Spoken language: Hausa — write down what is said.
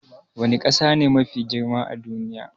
Wani kasa ne Mafi girma a duniya?